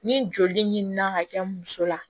Ni joli ɲini na ka kɛ muso la